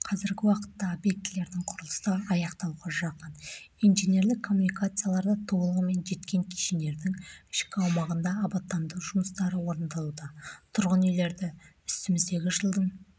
қазіргі уақытта объектілердің құрылысы аяқталуға жақын инженерлік коммуникациялар да толығымен жеткен кешендердің ішкі аумағында абаттандыру жұмыстары орындалуда тұрғын үйлерді үстіміздегі жылдың